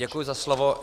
Děkuji za slovo.